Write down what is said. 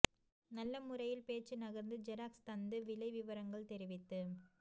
நல்ல முறையில் பேச்சு நகர்ந்து ஜெராக்ஸ் தந்து விலை விவரங்கள் தெரிவித்து